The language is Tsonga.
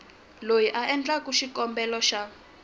loyi a endlaka xikombelo xa